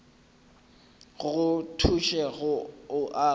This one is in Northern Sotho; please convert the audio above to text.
go thuše go o aga